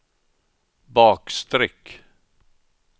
bakstreck